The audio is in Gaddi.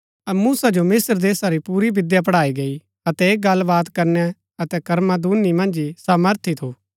मूसा जो मिस्त्र देशा री पुरी विद्या पढ़ाई गई अतै ऐह गल्ल बात करनै अतै कर्मा दूनी मन्ज ही सामर्थी थू